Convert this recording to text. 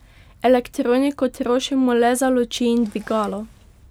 Elektriko trošimo le za luči in dvigalo.